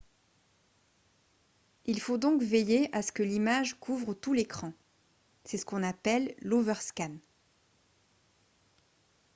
il faut donc veiller à ce que l'image couvre tout l'écran c'est ce qu'on appelle l'overscan